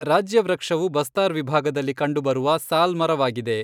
ರಾಜ್ಯವೃಕ್ಷವು ಬಸ್ತಾರ್ ವಿಭಾಗದಲ್ಲಿ ಕಂಡುಬರುವ ಸಾಲ್ ಮರವಾಗಿದೆ.